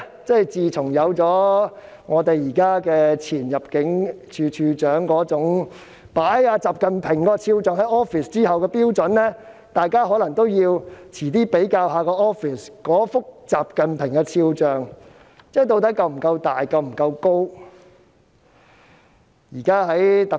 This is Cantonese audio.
即自前入境事務處處長那種在辦公室擺放習近平肖像的做法成為標準後，可能大家稍後也要比較一下自己辦公室中的習近平肖像是否夠大、夠高。